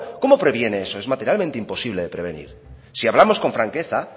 cómo previene eso es materialmente imposible de prevenir si hablamos con franqueza